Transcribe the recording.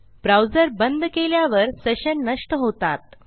browser बंद केल्यावर session नष्ट होतात